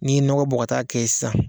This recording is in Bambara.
N'i ye nɔgɔ bɔ ka t'a kɛ ye sisan